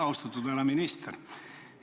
Austatud härra minister!